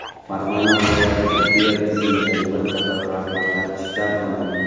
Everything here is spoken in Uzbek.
Farg‘ona viloyati tibbiyot tizimidagi bir qator rahbarlar ishdan olindi.